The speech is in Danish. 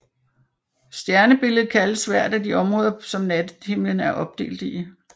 Stjernebillede kaldes hvert af de områder som nattehimlen er opdelt i